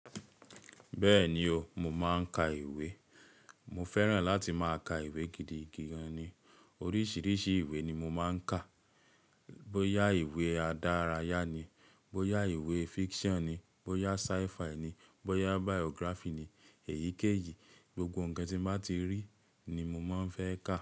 Bẹ́ẹ̀ni o, mo máa ń kà ìwé. Mo fẹ́ràn láti máa kà ìwé gidi gan ni. Oríṣiríṣi ìwé ni mo máa ń kà. Bó ya ìwé adárayá ni, bó ya ìwé fiction ni, bó ya sci-fi ni, bó ya biography ni, èyíkéyìí, gbogbo ǹkan tí m bá ti rí ni mo máa ń fẹ́ kà.